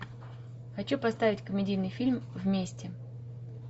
хочу поставить комедийный фильм вместе